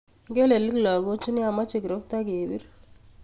I'ngelelik lakochu nia, moche kirokto kebir.